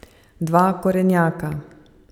Dva korenjaka.